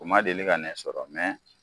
O ma deli ka ne sɔrɔ